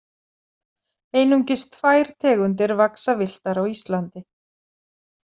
Einungis tvær tegundir vaxa villtar á Íslandi.